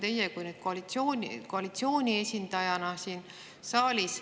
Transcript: Teie olete koalitsiooni esindaja siin saalis.